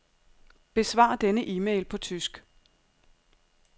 Besvar denne e-mail på tysk.